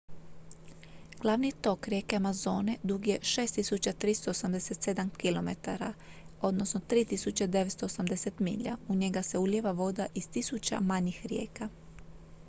glavni tok rijeke amazone dug je 6387 km 3.980 milja. u njega se ulijeva voda iz tisuća manjih rijeka